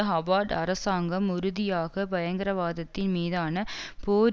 Howard அரசாங்கம் உறுதியாக பயங்கரவாதத்தின் மீதான போர்